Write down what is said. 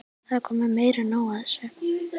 Það er komið meira en nóg af þessu!